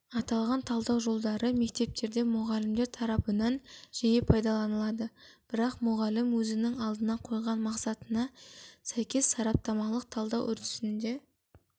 аталған талдау жолдары мектептерде мұғалімдер тарапынан жиі пайдаланады бірақ мұғалім өзінің алдына қойған мақсатына сәйкес сараптамалық талдау үрдісінде